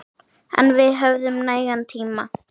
En við höfum nægan tíma.